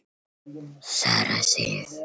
Sara Sif.